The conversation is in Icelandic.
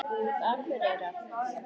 Hverju er eiginlega hægt að stela hérna?